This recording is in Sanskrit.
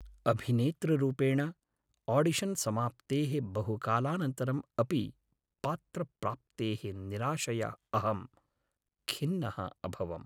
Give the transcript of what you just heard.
अभिनेतृरूपेण, आडिशन् समाप्तेः बहुकालानन्तरम् अपि पात्रप्राप्तेः निराशया अहं खिन्नः अभवम्।